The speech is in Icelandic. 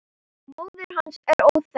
Móðir hans er óþekkt.